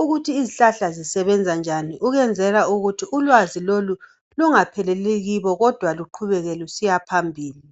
ukuthi izihlahla zisebenzanjani. Ukwenzela ukuthi ulwazi lolu lungapheleli kibo kodwa luqhubeke lusiyaphambili.